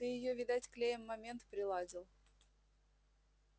ты её видать клеем момент приладил